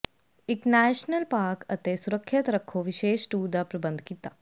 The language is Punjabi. ਇੱਕ ਨੈਸ਼ਨਲ ਪਾਰਕ ਅਤੇ ਸੁਰੱਖਿਅਤ ਰੱਖੋ ਵਿਸ਼ੇਸ਼ ਟੂਰ ਦਾ ਪ੍ਰਬੰਧ ਕੀਤਾ